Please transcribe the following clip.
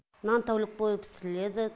нан тәулік бойы пісіріледі